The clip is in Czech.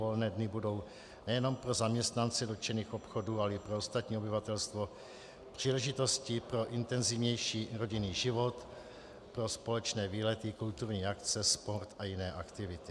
Volné dny budou nejen pro zaměstnance dotčených obchodů, ale i pro ostatní obyvatelstvo příležitostí pro intenzivnější rodinný život, pro společné výlety, kulturní akce, sport a jiné aktivity.